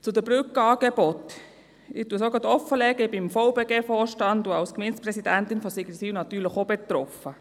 Zu den Brückenangeboten: Ich lege es offen, ich bin im Vorstand des VBG und als Gemeindepräsidentin von Sigriswil natürlich ebenfalls betroffen.